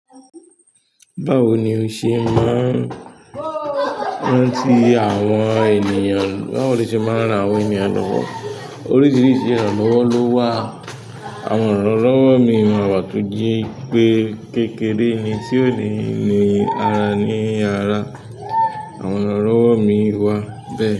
Báwo ni o ṣe má ń rántí àwọn ènìyàn? Báwo lo ṣe máa rán àwọn ènìyàn lọ́wọ́? Oríṣiríṣi ìrànlọ́wọ́ ló wà. Àwọn ìrànlọ́wọ́ mii máa wà tó jẹ pé kékeré ni tí ó ni ní ara ní ara. Àwọn ìrànlọ́wọ́ mi wà bẹ́ẹ̀.